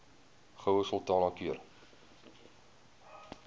goue sultana keur